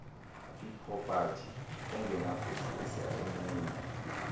ipropati engenakususwa emnini